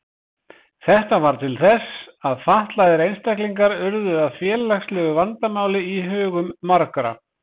Þetta varð til þess að fatlaðir einstaklingar urðu að félagslegu vandamáli í hugum margra.